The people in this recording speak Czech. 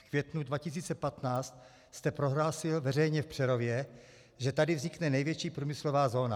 V květnu 2015 jste prohlásil veřejně v Přerově, že tady vznikne největší průmyslová zóna.